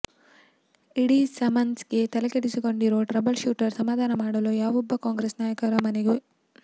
ಇಡಿ ಸಮನ್ಸ್ಗೆ ತಲೆಕೆಡಿಸಿಕೊಂಡಿರೋ troubleshooter ಸಮಾಧಾನ ಮಾಡಲು ಯಾವೊಬ್ಬ ಕಾಂಗ್ರೆಸ್ ನಾಯಕರು ಮನೆಗೆ